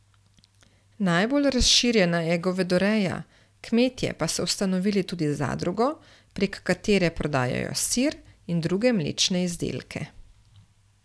Najbolj razširjena je govedoreja, kmetje pa so ustanovili tudi zadrugo, prek katere prodajajo sir in druge mlečne izdelke.